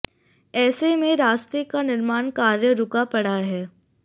ऐसे में रास्ते का निर्माण कार्य रुका पड़ा है